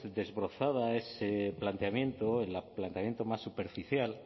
desbrozado ese planteamiento el planteamiento más superficial